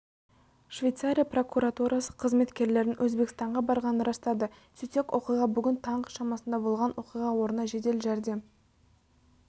швейцария прокуратурасы қызметкерлерінің өзбекстанға барғанын растады сөйтсек оқиға бүгін таңғы шамасында болған оқиға орнына жедел жәрдем